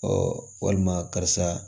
walima karisa